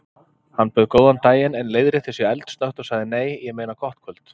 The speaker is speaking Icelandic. Hann bauð góðan daginn en leiðrétti sig eldsnöggt og sagði: Nei, ég meina gott kvöld.